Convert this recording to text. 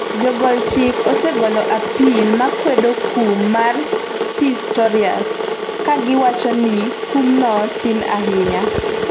Jogol chik osegolo apil makwedo kum ma Pistorius, ka giwacho ni kumno tin ahinya.